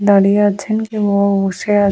দাঁড়িয়ে আছেন কেও বা বসে আ--